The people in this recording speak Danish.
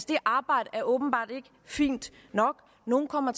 det arbejde er åbenbart ikke fint nok nogle kommer